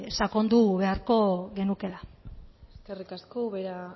sakondu beharko genukela eskerrik asko ubera